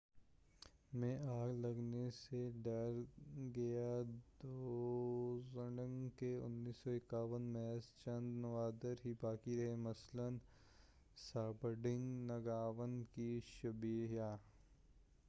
1951 میں آگ لگنے سے ڈرکگیال ڈزونگ کے محض چند نوادر ہی باقی رہے مثلاً ژابڈرنگ نگاوانگ کی شبییہ